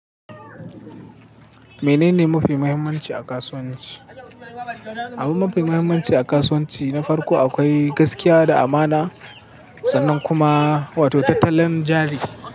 Menene mafi muhimmanci a kasuwanci? Abin mafi muhimmanci a kasuwanci na farko akwai gaskiya da amana sannan kuma wato tattalin jari.